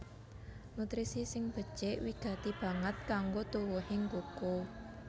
Nutrisi sing becik wigati banget kanggo tuwuhing kuku